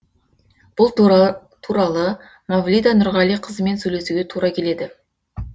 бұл туралы мавлида нұрғалиқызымен сөйлесуге тура келеді